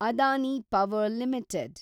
Adani power limited